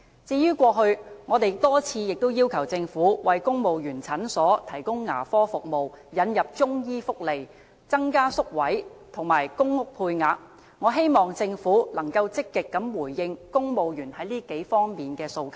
我們過去亦已多次要求政府為公務員診所提供牙科服務、引入中醫福利、增加宿位和公屋配額，我希望政府能夠積極回應公務員在這數方面的訴求。